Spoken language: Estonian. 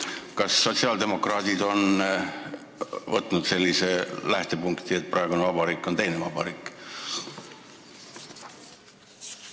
Kas sotsiaaldemokraadid on võtnud sellise lähtepunkti, et praegune vabariik on teine vabariik?